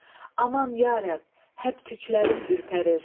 Aman ya Rəbb, həbtüklərim ürpərir.